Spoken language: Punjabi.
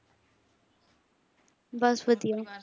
ਬੱਸ ਵਧੀਆ